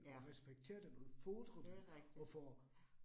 Ja, det rigtigt. Ja